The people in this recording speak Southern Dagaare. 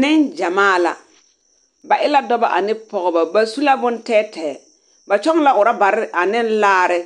Neŋgyamaa la. Ba e dɔbɔ ane pɔgebɔ ba su la bontɛɛ tɛɛ. Ba kyɔŋ la orɔbare aneŋ laare